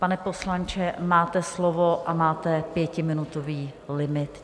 Pane poslanče, máte slovo a máte pětiminutový limit.